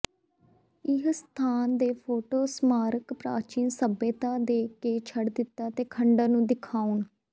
ਇਹ ਸਥਾਨ ਦੇ ਫ਼ੋਟੋ ਸਮਾਰਕ ਪ੍ਰਾਚੀਨ ਸਭਿਅਤਾ ਦੇ ਕੇ ਛੱਡ ਦਿੱਤਾ ਦੇ ਖੰਡਰ ਨੂੰ ਦਿਖਾਉਣ